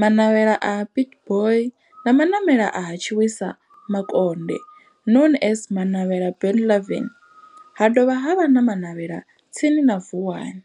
Manavhela ha Pietboi na Manavhela ha Tshiwisa Makonde known as Manavhela Benlavin ha dovha havha na Manavhela tsini na Vuwani.